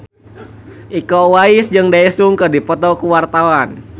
Iko Uwais jeung Daesung keur dipoto ku wartawan